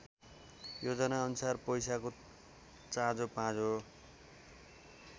योजनाअनुसार पैसाको चाँजोपाँजो